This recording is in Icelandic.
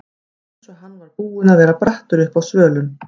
Eins og hann var búinn að vera brattur uppi á svölunum.